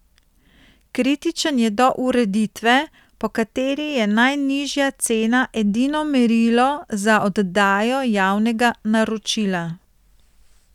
Kritičen je do ureditve, po kateri je najnižja cena edino merilo za oddajo javnega naročila.